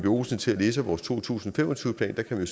olsen til at læse vores to tusind og fem og tyve plan der kan man